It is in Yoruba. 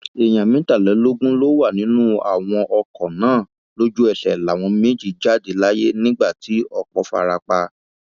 èèyàn mẹtàlélógún ló wà nínú àwọn ọkọ náà lójú ẹsẹ láwọn méjì jáde láyé nígbà tí ọpọ fara pa